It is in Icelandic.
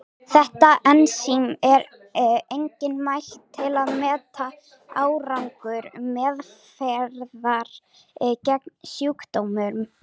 Þetta ensím er einnig mælt til að meta árangur meðferðar gegn sjúkdómnum.